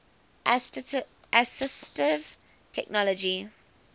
assistive technology